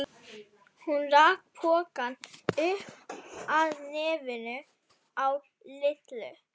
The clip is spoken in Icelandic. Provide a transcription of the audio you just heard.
Hún rak pokann upp að nefinu á Lillu.